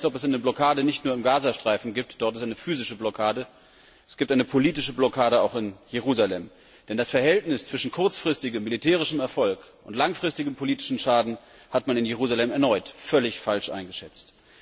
Es scheint mir, als ob es eine Blockade nicht nur im Gaza Streifen gibt dort ist es eine physische Blockade es gibt eine politische Blockade auch in Jerusalem, denn das Verhältnis zwischen kurzfristigem militärischem Erfolg und langfristigem politischem Schaden hat man in Jerusalem erneut völlig falsch eingeschätzt.